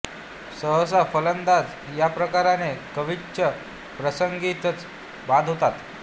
सहसा फलंदाज या प्रकाराने क्वचित प्रसंगीच बाद होतात